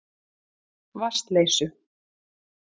Vatnsleysu